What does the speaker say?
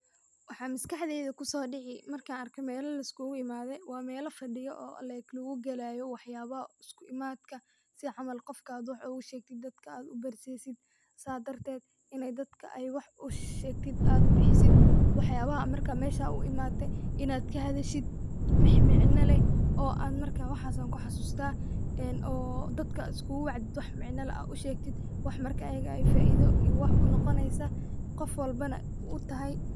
Waxaa maskaxdeyda kusoodici markan arka mela la iskugu imaade waa mela fadhiyo oo like lagugalayo waxyabo isku imadka si camal qofka aad wax ogu shegtid dadka aad u garsisid sa darted inay dadka wax ushashegtid aad bixisid waxyabaha marka aad mesha u imaate inaad kahadashid wixi micna leh oo an marka waxaasa ku xasusta oo dadka aad iskugu wacdid oo wax micna lah aa u shegtid wax marka ayaga ay faida iyo wax u noqoneysa qofwalbana u tahay